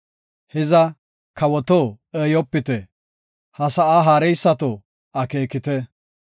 Hiza, kawoto eeyopite; ha sa7aa haareysato akeekite.